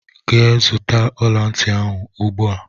Gee zụta ọlanti ahụ ugbua!!!!!